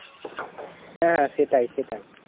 হ্যাঁ হ্যাঁ সেটাই সেটাই